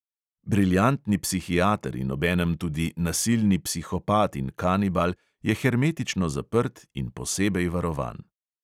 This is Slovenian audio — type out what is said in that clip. Briljantni psihiater in obenem tudi nasilni psihopat in kanibal je hermetično zaprt in posebej varovan.